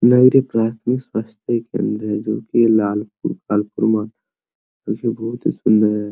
प्राथमिक स्वास्थ्य केंद्र है जोकि लाल बहोत ही सुंदर है।